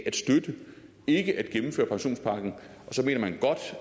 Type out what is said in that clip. at støtte ikke ønsker